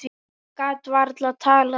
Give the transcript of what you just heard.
Hann gat varla talað.